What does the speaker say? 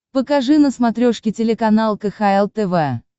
покажи на смотрешке телеканал кхл тв